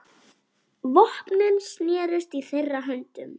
Vopnin snerust í þeirra höndum.